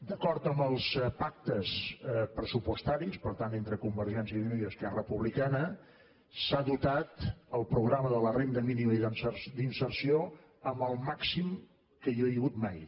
d’acord amb els pactes pressupostaris per tant entre convergència i unió i esquerra republicana s’ha dotat el programa de la renda mínima d’inserció amb el màxim que hi ha hagut mai